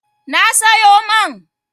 Na sayo man.